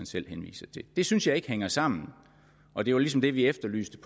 selv henviser til det synes jeg ikke hænger sammen og det var ligesom det vi efterlyste